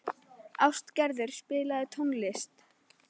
Ástgerður, spilaðu tónlist.